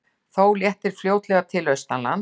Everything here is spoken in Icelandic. Þó léttir fljótlega til austanlands